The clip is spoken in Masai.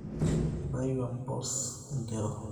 Kitayu empus idero